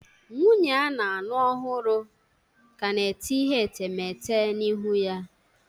Nwunye a na-alụ ọhụrụ ka na-ete ihe etemeete na ihu ya